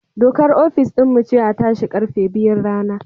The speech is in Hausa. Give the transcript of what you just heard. Dokar ofis din mu ce a tashi karfe biyun rana